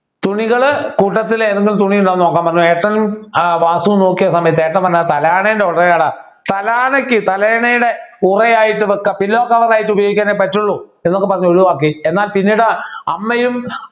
തുണികൾ കൂട്ടത്തിലെ ഏതെങ്കിലും തുണി ഇതാ നോക്ക പറഞ്ഞു ഏട്ടനും ഏർ വാസുവും നോക്കിയ സമയത്ത് ഏട്ടൻ പറഞ്ഞു തലാണെൻ്റെ ഒറ ആട തലാണയ്ക്ക് തലയണയുടെ ഉറ ആയിട്ട് വയ്ക്കാം Pillow cover ആയിട്ട് ഉപയോഗിക്കാനെ പറ്റുള്ളൂ എന്നൊക്കെ പറഞ്ഞു ഒഴിവാക്കി എന്നാൽ പിന്നീട് അമ്മയും